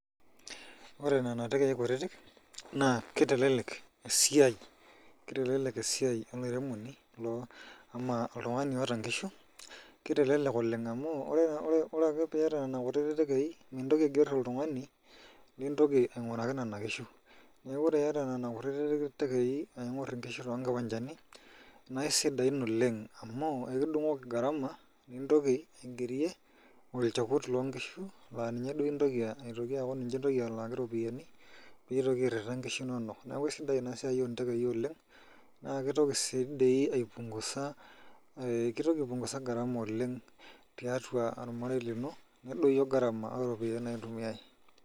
Ore nena tenkei kutiti naa kitelelek esiai olairemoni ama oltungani oota inkishu amu wore pee iyata nena kutiti tenkei mitoki aiger oltungani likitoki ainguraki nena nkishu neaku ore iyata nena kutiti tenkei naingor inkishu too kiwanjani naa isidain oleng amu ekidunguli garama nitoki aigerie olchekut loo inkishu laa ninye duo itoki aaku ninche alaaki iropiyani piitoki airita inkishu inonok neaku isidai ina siai oo ntekei oleng naa kitoki sii dii aipungusa garama oleng tiatua ormarei lino nedoyio garama oo ropiyani naitumiae.